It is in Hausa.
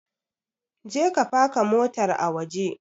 Je ka faka motar ka a waje!